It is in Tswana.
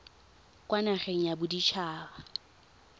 kwa nageng ya bodit haba